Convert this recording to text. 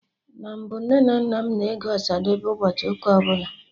Na mbụ, Nne na nna m na-ege Ọsadebe ụbọchị ụka ọbụla